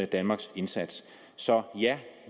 danmarks indsats så ja